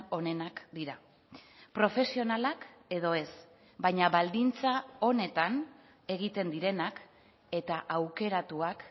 onenak dira profesionalak edo ez baina baldintza onetan egiten direnak eta aukeratuak